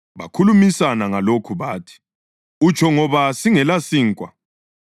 Bakhulumisana ngalokhu bathi, “Utsho ngoba singelasinkwa.”